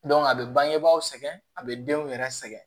a bɛ bangebaaw sɛgɛn a be denw yɛrɛ sɛgɛn